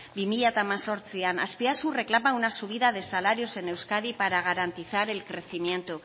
bi mila hemezortzian azpiazu reclama una subida de salarios en euskadi para garantizar el crecimiento